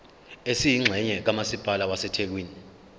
esiyingxenye kamasipala wasethekwini